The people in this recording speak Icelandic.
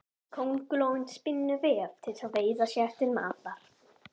Köngulóin spinnur vef til að veiða sér til matar.